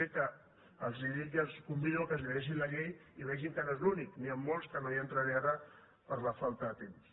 g que els dic i els convido que es llegeixin la llei i vegin que no és l’únic n’hi han molts que no hi entraré ara per la falta de temps